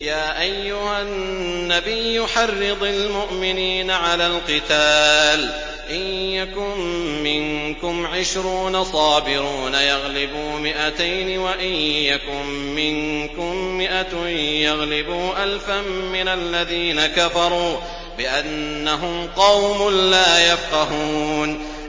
يَا أَيُّهَا النَّبِيُّ حَرِّضِ الْمُؤْمِنِينَ عَلَى الْقِتَالِ ۚ إِن يَكُن مِّنكُمْ عِشْرُونَ صَابِرُونَ يَغْلِبُوا مِائَتَيْنِ ۚ وَإِن يَكُن مِّنكُم مِّائَةٌ يَغْلِبُوا أَلْفًا مِّنَ الَّذِينَ كَفَرُوا بِأَنَّهُمْ قَوْمٌ لَّا يَفْقَهُونَ